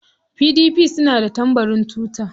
PDP suna da tambarin tuta.